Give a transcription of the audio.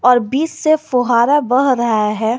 और बीच से फोहारा बह रहा है।